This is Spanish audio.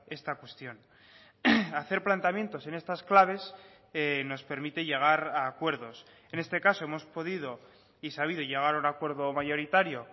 esta cuestión hacer planteamientos en estas claves nos permite llegar a acuerdos en este caso hemos podido y sabido llegar a un acuerdo mayoritario